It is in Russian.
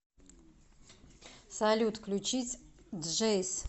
салют включить джейс